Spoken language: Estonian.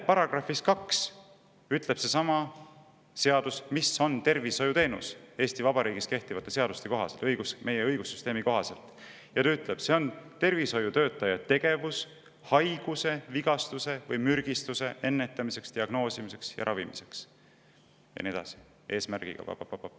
Paragrahvis 2 ütleb seesama seadus, mis on Eesti Vabariigis kehtivate seaduste kohaselt, meie õigussüsteemi kohaselt tervishoiuteenus: see on tervishoiutöötaja tegevus haiguse, vigastuse või mürgistuse ennetamiseks, diagnoosimiseks ja ravimiseks eesmärgiga pa-pa-pa-pap.